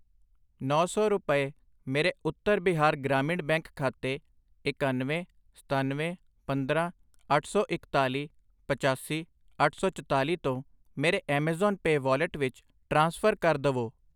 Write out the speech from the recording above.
ਨੌਂ ਸੌ ਰੁਪਏ ਮੇਰੇ ਉੱਤਰ ਬਿਹਾਰ ਗ੍ਰਾਮੀਣ ਬੈਂਕ ਖਾਤੇ ਇਕਾਨਵੇਂ, ਸਤਨਵੇਂ, ਪੰਦਰਾਂ, ਅੱਠ ਸੌ ਇਕਤਾਲੀ, ਪਚਾਸੀ, ਅੱਠ ਸੌ ਚਤਾਲੀ ਤੋਂ ਮੇਰੇ ਐਮਾਜ਼ਾਨ ਪੈ ਵਾਲਿਟ ਵਿੱਚ ਟ੍ਰਾਂਸਫਰ ਕਰ ਦਵੋI